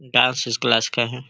Dance class का है।